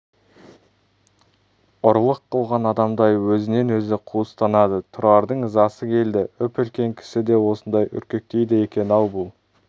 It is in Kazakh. ұрлық қылған адамдай өзінен өзі қуыстанады тұрардың ызасы келді үп-үлкен кісі де осындай үркектейді екен-ау бұл